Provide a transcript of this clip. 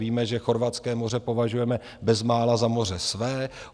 Víme, že chorvatské moře považujeme bezmála za moře své.